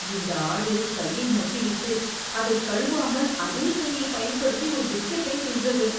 இந்த ஆடு கையை நக்கிவிட்டு, அதைக் கழுவாமல் அதே கையைப் பயன்படுத்தி ஒரு பிஸ்கட்டைத் தின்றது.